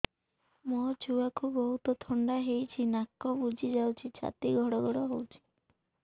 ମୋ ଛୁଆକୁ ବହୁତ ଥଣ୍ଡା ହେଇଚି ନାକ ବୁଜି ଯାଉଛି ଛାତି ଘଡ ଘଡ ହଉଚି